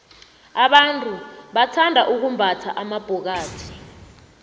abantu bathanda ukumbatha amabhokathi